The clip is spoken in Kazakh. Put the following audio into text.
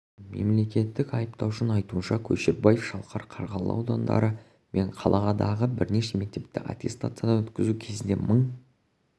мемлекеттік айыптаушының айтуынша көшербаев шалқар қарғалы аудандары мен қаладағы бірнеше мектепті аттестациядан өткізу кезінде мың